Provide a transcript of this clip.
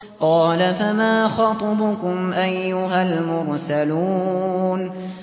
قَالَ فَمَا خَطْبُكُمْ أَيُّهَا الْمُرْسَلُونَ